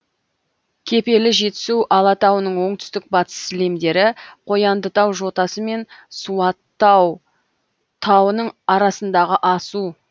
кепелі жетісу алатауының оңтүстік батыс сілемдері қояндытау жотасы мен суаттау тауының арасындағы асу